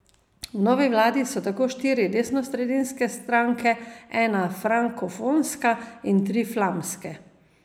V novi vladi so tako štiri desnosredinske stranke, ena frankofonska in tri flamske.